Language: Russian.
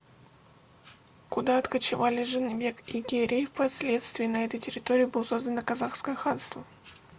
куда откочевали жаныбек и керей и в последствии на этой территории было создано казахское ханство